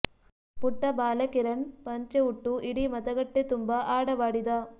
ಪುಟ್ಟ ಬಾಲ ಕಿರಣ್ ಪಂಚೆ ಉಟ್ಟು ಇಡೀ ಮತಗಟ್ಟೆ ತುಂಬಾ ಆಡವಾಡಿದ